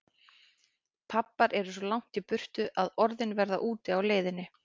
Pabbar eru svo langt í burtu að orðin verða úti á leiðinni.